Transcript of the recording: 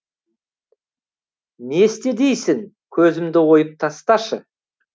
не істе дейсің көзімді ойып тасташы